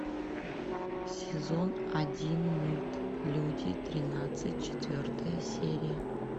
сезон один мульт люди тринадцать четвертая серия